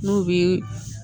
N'o bɛ